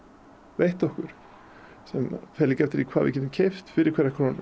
veitt okkur sem fer líka eftir því hvað við getum keypt fyrir hverja krónu